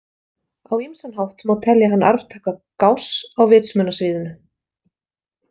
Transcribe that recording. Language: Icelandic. Á ýmsan hátt má telja hann arftaka Gauss á vitsmunasviðinu.